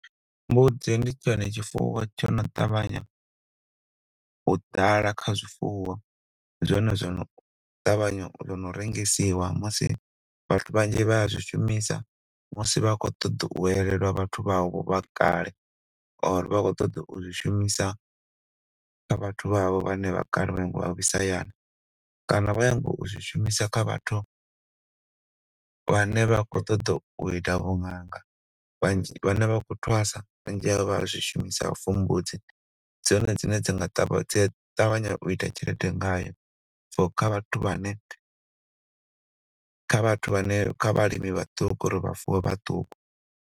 Mbudzi ndi tshone tshifuwo tsho no ṱavhanya u ḓala kha zwifuwo zwone zwo ṱavhanya na u rengisiwa musi vhathu vhanzhi vha zwi shumisa musi vha khou ṱoḓa u elelwaho vhathu vha vho vhakale or vha khou ṱoḓa u zwi shumisa kha vhathu vha vho vhane vhakale vha ne vha nyongo u vhuisa hayani kana vha khou nyaga u zwi shumisa kha vhathu vhane vha khou ṱoḓa u ita vhu ṅanga vhane vha khou thwasa vhanzi vha ya zwi shumisa for mbudzi dzone dzine dza ṱavhanya u ita tshelede ngayo kha vhathu vhane, kha vhathu vhane, kha vhalimi vhaṱuku uri vha fuwe .